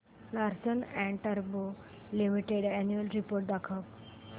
Larsen and टुर्बो limited annual report दाखव